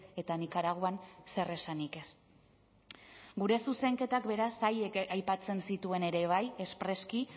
eta nikaraguan zer esanik ez gure zuzenketak beraz haiek aipatzen zituen ere bai espreski